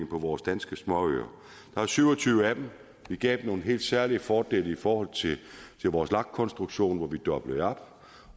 på vores danske småøer der er syv og tyve af dem vi gav nogle helt særlige fordele i forhold til vores lag konstruktion hvor vi doblede op